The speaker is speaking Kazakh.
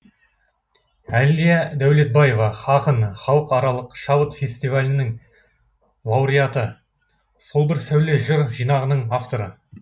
әлия дәулетбаева ақын халықаралық шабыт фестиалінің лауреаты сол бір сәуле жыр жинағының авторы